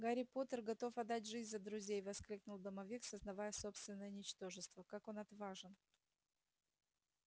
гарри поттер готов отдать жизнь за друзей воскликнул домовик сознавая собственное ничтожество как он отважен